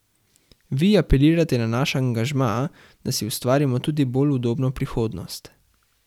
Vi apelirate na naš angažma, da si ustvarimo tudi bolj udobno prihodnost.